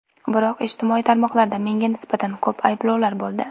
Biroq, ijtimoiy tarmoqlarda menga nisbatan ko‘p ayblovlar bo‘ldi.